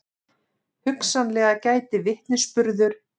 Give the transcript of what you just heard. Hugsanlega gæti vitnisburður